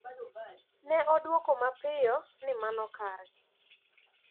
Ne odwoko mapiyo ni mano kare."